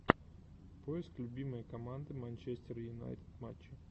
поиск любимые команды манчестер юнайтед матчи